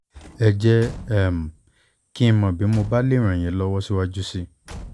ẹ jẹ́ um kí n mọ̀ bí mo bá lè ràn yín lọ́wọ́ síwájú sí i